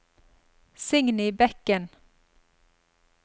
Signy Bekken